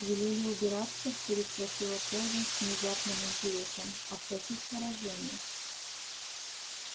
велели убираться переспросила кэлвин с внезапным интересом а в каких выражениях